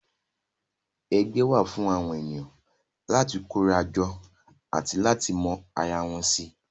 Ẹgbẹ́ wà fún àwọn ènìyàn láti kóra jọ àti láti lè mọ ara wọn si